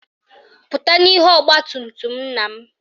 Pụta n'ihu ọgbatumtum nna m!